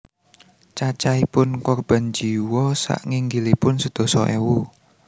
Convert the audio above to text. Cacaipun korban jiwa saknginggilipun sedasa ewu